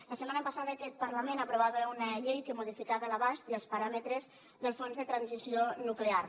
la setmana passada aquest parlament aprovava una llei que modificava l’abast i els paràmetres del fons de transició nuclear